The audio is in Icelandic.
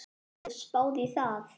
Hefur þú spáð í það?